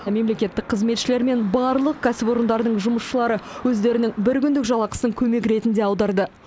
мемлекеттік қызметшілер мен барлық кәсіпорындардың жұмысшылары өздерінің бір күндік жалақысын көмек ретінде аударды